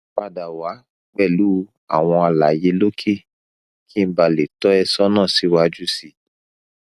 pada wa pẹlu awọn alaye loke ki n bale to e sona si waju si